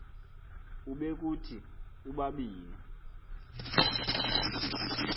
ube kuthi ubabini